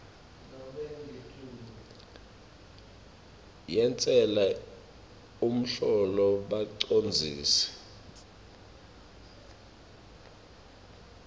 yentsela umholo bacondzisi